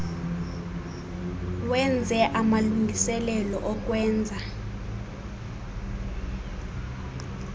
wenze amalungiselelo okwenza